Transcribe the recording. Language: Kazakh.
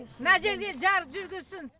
мына жерге жарық жүргізсін